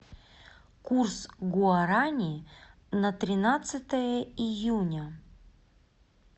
курс гуарани на тринадцатое июня